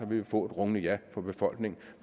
vi få et rungende ja fra befolkningen